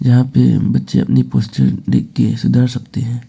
यहां पे बच्चे अपनी देख के सुधार सकते हैं।